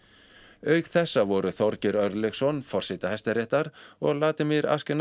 auk þessa voru Þorgeir Örlygsson forseti Hæstaréttar og Vladimir